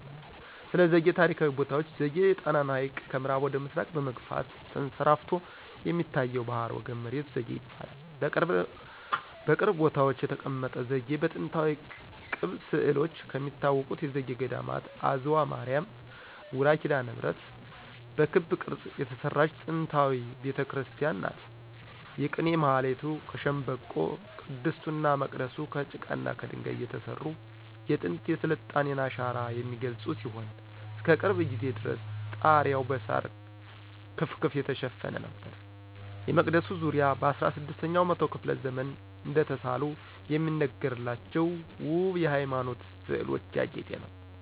ስለዘጌ ታሪካዊ ቦታዎች ዘጌ የጣናን ሀይቅ ከምአራብ ወደ ምስራቅ በመግፋት ተንሰራፍቶ የሚታየው ባህረገብ መሬት ዘጌ ይባላል። በቅርብ ቦታዎች የተቀመጠ ዘጌ በጥንታዊ ቅብ ስእሎች ከሚታወቁት የዘጌ ገዴማት አዝዋ ማርያ ውራ ኪዳነምህረት በክብ ቅርጽ የተሰራች ጥንታዊ ቤተክርስቲያን ናት። የቅኔ ማህሌቱ ከሸንበቆ :ቅድስቱና መቅደሱ ከጭቃና ከደንጋይ የተሰሩ የጥንት የስልጣኔን አሻራ የሚገልጹ ሲሆን እስከቅርብ ጊዜ ድረስ ጣሪያዉ በሳር ክፍክፍ የተሸፈነ ነበር። የመቅደሱ ዙሪያ በ16 ኛው መቶ ክፍለ ዘመን እደተሳሉ የሚነገርላቸው ወብ የሃይማኖት ስእሎች ያጌጠ ነው።